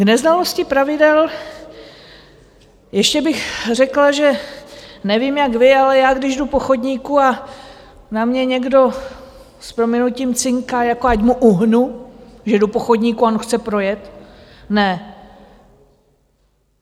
K neznalosti pravidel - ještě bych řekla, že nevím, jak vy, ale já když jdu po chodníku a na mě někdo s prominutím cinká, jako ať mu uhnu, že jdu po chodníku a on chce projet - ne!